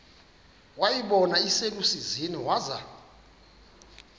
wayibona iselusizini waza